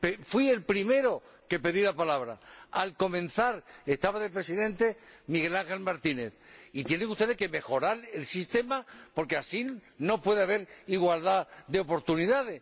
Fui el primero que pedí la palabra —al comenzar estaba de Presidente Miguel Ángel Martínez—, y tienen ustedes que mejorar el sistema, porque así no puede haber igualdad de oportunidades.